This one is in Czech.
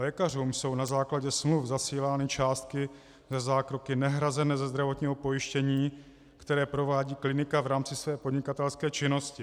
Lékařům jsou na základě smluv zasílány částky za zákroky nehrazené ze zdravotního pojištění, které provádí klinika v rámci své podnikatelské činnosti.